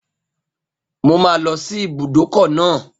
Mo máa lọ sí ibùdókọ̀ náà